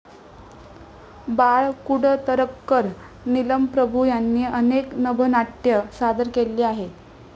बाळ कुडतरकर, नीलम प्रभू यांनी अनेक नभोनाट्ये सादर केलेली आहेत.